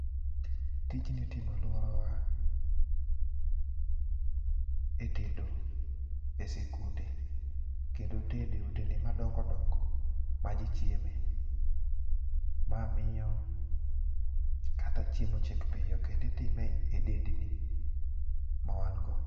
tijni itimo e alworawa e tedo e sikunde kendo tede e otende madongodongo ma jii chieme. Ma miyo kata chiemo chiek piyo kendo itime e dendni ma wan'go.